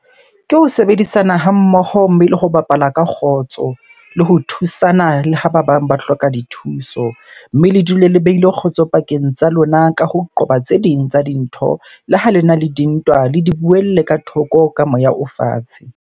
Ke ho sebedisana ha mmoho mme le ho bapala ka kgotso. Le ho thusana le ha ba bang ba hloka dithuso. Mme le dule le behile kgotso pakeng tsa lona ka ho qoba tse ding tsa dintho. Le ha lena le dintwa, le di buelle ka thoko ka moya o fatshe.